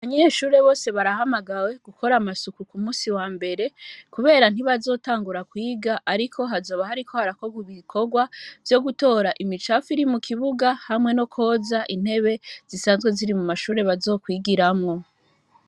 Abanyeshure bose barahamagawe gukora amasuku ku musi wa mbere, kubera ntibazotangura kwiga, ariko hazoba hariko harakorwa ibikorwa vyo gutora imicapfu iri mu kibuga hamwe no kwoza intebe zisanzwe ziri mu mashure bazokwigiramwo.